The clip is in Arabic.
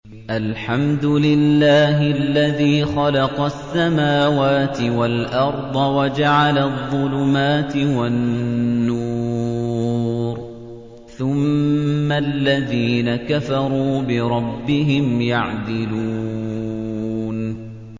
الْحَمْدُ لِلَّهِ الَّذِي خَلَقَ السَّمَاوَاتِ وَالْأَرْضَ وَجَعَلَ الظُّلُمَاتِ وَالنُّورَ ۖ ثُمَّ الَّذِينَ كَفَرُوا بِرَبِّهِمْ يَعْدِلُونَ